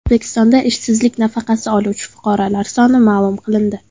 O‘zbekistonda ishsizlik nafaqasi oluvchi fuqarolar soni ma’lum qilindi.